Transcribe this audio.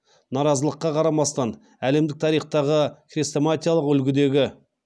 наразылыққа қарамастан әлемдік тарихтағы хрестоматиялық үлгідегі